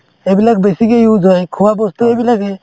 এইবিলাক বেছিকে use হয় খোৱা বস্তু এইবিলাকে